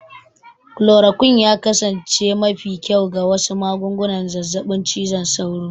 Chloroquine ya kasance mafi kyau ga wasu magungunan zazzabin cizon sauro.